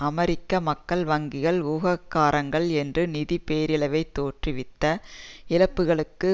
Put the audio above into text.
அமெரிக்க மக்கள் வங்கிகள் ஊகக்காரங்கள் என்று நிதி பேரழவை தோற்றுவித்த இழப்புக்களுக்கு